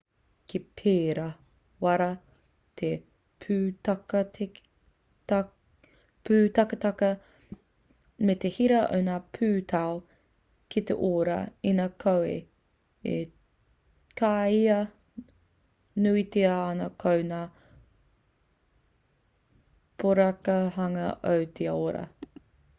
ka pērā rawa te pūtaketake me te hira o ngā pūtau ki te ora inā koa e kīia nuitia ana ko ngā poraka hanga o te ora